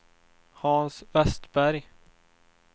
Hans Westberg